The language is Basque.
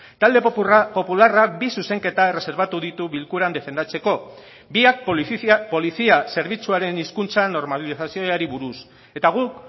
talde popularrak bi zuzenketa erreserbatu ditu bilkuran defendatzeko biak polizia zerbitzuaren hizkuntza normalizazioari buruz eta guk